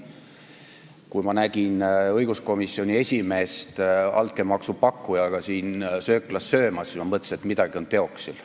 Kui ma nägin õiguskomisjoni esimeest altkäemaksu pakkujaga siin sööklas söömas, siis ma mõtlesin, et midagi on teoksil.